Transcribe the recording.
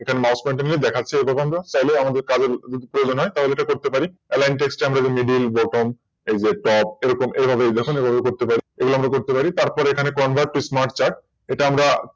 এখানে MousePointer নিয়ে দেখাচ্ছে দেখুন চাইলে কাউকে প্রয়োজন হয় তাহলে এটা করতে পারি AlineText এ আমরা MiddelButton এরকম এভাবে দেখুন এইভাবে আমরা করতে পারি এগুলো করতে পারি। তারপর এখানে ConverttoSmartChart এটা আমরা